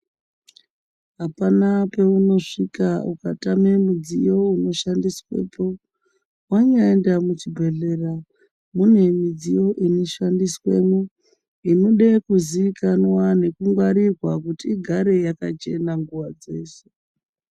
Hapana peunosvika ukatame mudziyo unoshandiswepo. Wanyaenda muchibhedhlera, mune midziyo inoshandiswemwo inode kuziikanwa nekungwarirwa kuti igare yakachena nguva dzeshe.